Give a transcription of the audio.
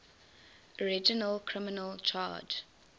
original criminal charge